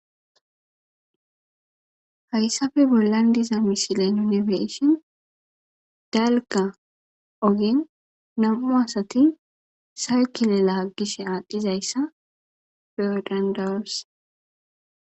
Hayssafe bollan diza misile yunifeshin dalka ogen nam'u asati saykile laaggish aaddizayssa peodandawose.